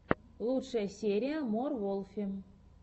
лучшая серия мор волфи